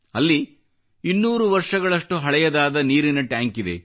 ಅಲ್ಲಿ 200 ವರ್ಷಗಳಷ್ಟು ಹಳೆಯದಾದ ನೀರಿನ ಟ್ಯಾಂಕ್ ಇದೆ